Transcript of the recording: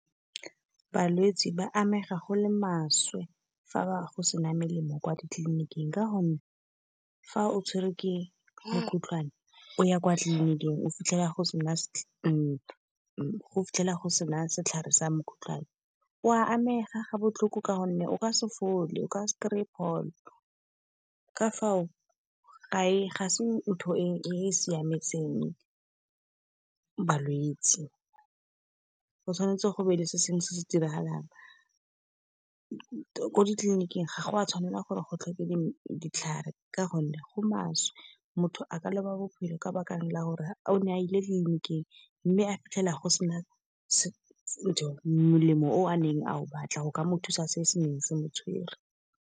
Balwetse ba amega go le maswe fa go sena melemo kwa ditleliniking. Ka gonne fa o tshwerwe ke mokgotlwane o ya kwa tleliniking, o fitlhela go sena setlhare sa mokgotlwane. O a amega ga botlhoko, ka gonne o ka se fole o ka se kry-e pholo, ka fao ga se ntho e siametseng balwetsi. Go tshwanetse go nne le se sengwe se se diragalang, ko ditleliniking ga go a tshwanela gore go tlhoke ditlhare, ka gonne go maswe. Motho a ka loba bophelo ka bakang la gore a o ne a ile ditleliniking, mme a fitlhela go sena molemo o a neng a o batla. Go ka mothusa se se neng se motshwere.